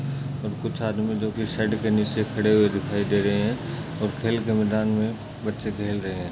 और कुछ आदमी जो की शेड के नीचे खड़े हुए दिखाई दे रहे हैं और खेल के मैदान में बच्चे खेल रहे हैं।